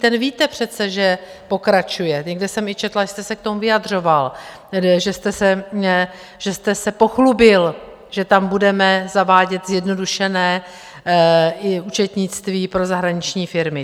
Ten víte přece, že pokračuje, někde jsem i četla, že jste se k tomu vyjadřoval, že jste se pochlubil, že tam budeme zavádět zjednodušené účetnictví pro zahraniční firmy.